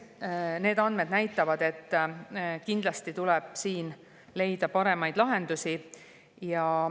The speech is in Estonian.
Need andmed näitavad, et kindlasti tuleb siin leida paremaid lahendusi.